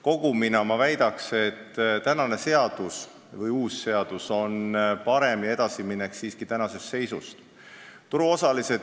Kokku võttes ma väidan, et see uus seadus on parem: see on edasiminek tänasest seisust.